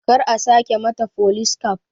Kar a sake mata folis kaf